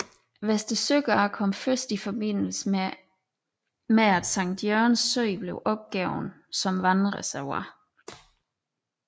Vester Søgade kom først til i forbindelse med at Sankt Jørgens Sø blev opgivet som vandreservoir